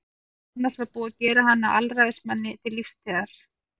Meðal annars var búið að gera hann að alræðismanni til lífstíðar.